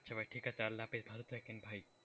আচ্ছা ভাই ঠিক আছে, আল্লাহ হাফিজ। ভালো থাকেন ভাই।